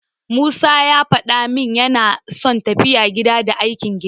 Musa ya faɗa min yana son tafiya gida, da aikin gida.